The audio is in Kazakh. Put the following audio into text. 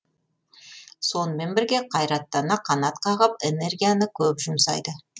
сонымен бірге қайраттана қанат қағып энергияны көп жұмсайды